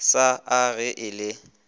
sa a ge e le